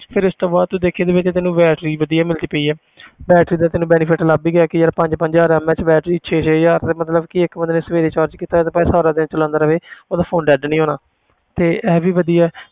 ਫਿਰ ਇਸ ਤੋਂ ਬਾਅਦ ਤੂੰ ਦੇਖੀ ਜਿਵੇਂ ਕਿ ਤੈਨੂੰ battery ਵੀ ਵਧੀਆ ਮਿਲਦੀ ਪਈ ਹੈ battery ਦਾ ਤੈਨੂੰ benefit ਲੱਭ ਹੀ ਗਿਆ ਕਿ ਯਾਰ ਪੰਜ ਪੰਜ ਹਜ਼ਾਰ MAH battery ਛੇ ਛੇ ਹਜ਼ਾਰ ਦੀ ਮਤਲਬ ਕਿ ਇੱਕ ਬੰਦੇ ਨੇ ਸਵੇਰੇ charge ਕੀਤਾ ਤੇ ਭਾਵੇਂ ਸਾਰਾ ਦਿਨ ਚਲਾਉਂਦਾ ਰਹੇ ਉਹਦਾ phone dead ਨੀ ਹੋਣਾ ਤੇ ਇਹ ਵੀ ਵਧੀਆ ਹੈ,